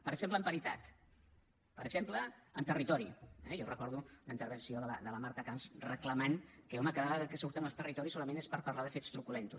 per exemple en paritat per exemple en territori eh jo recordo una intervenció de la marta camps reclamant que home cada vegada que surten els territoris solament és per parlar de fets truculents